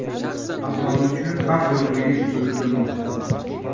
Aholi uchun xavf yo‘qligi bildirilmoqda.